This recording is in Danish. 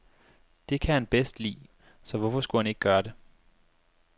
Det kan han bedst lide, så hvorfor skulle han ikke gøre det.